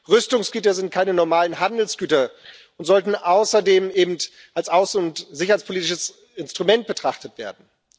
Rüstungsgüter sind keine normalen Handelsgüter und sollten außerdem als außen und sicherheitspolitisches Instrument betrachtet werden.